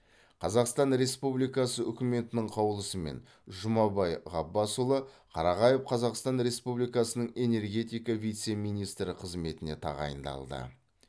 қазақстан республикасы үкіметінің қаулысымен жұмабай ғаббасұлы қарағаев қазақстан республикасының энергетика вице министрі қызметіне тағайындалды